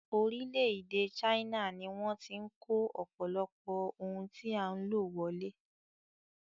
Orílẹ̀-èdè China ni wọ́n ti ń kó ọ̀pọ̀lọpọ̀ ohun tí a ń lò wọlé.